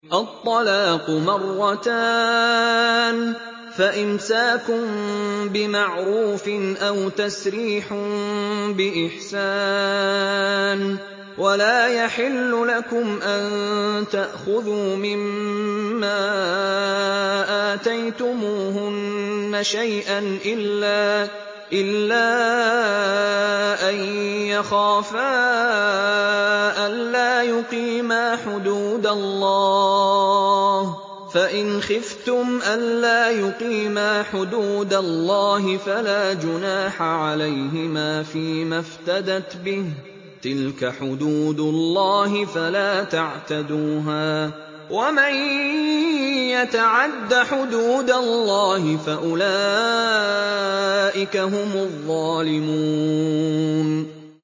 الطَّلَاقُ مَرَّتَانِ ۖ فَإِمْسَاكٌ بِمَعْرُوفٍ أَوْ تَسْرِيحٌ بِإِحْسَانٍ ۗ وَلَا يَحِلُّ لَكُمْ أَن تَأْخُذُوا مِمَّا آتَيْتُمُوهُنَّ شَيْئًا إِلَّا أَن يَخَافَا أَلَّا يُقِيمَا حُدُودَ اللَّهِ ۖ فَإِنْ خِفْتُمْ أَلَّا يُقِيمَا حُدُودَ اللَّهِ فَلَا جُنَاحَ عَلَيْهِمَا فِيمَا افْتَدَتْ بِهِ ۗ تِلْكَ حُدُودُ اللَّهِ فَلَا تَعْتَدُوهَا ۚ وَمَن يَتَعَدَّ حُدُودَ اللَّهِ فَأُولَٰئِكَ هُمُ الظَّالِمُونَ